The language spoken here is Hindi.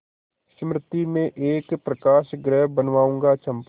मृति में एक प्रकाशगृह बनाऊंगा चंपा